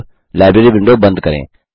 अब library window बंद करें